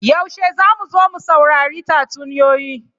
Yaushe za mu zo mu saurari tatsuniyoyi?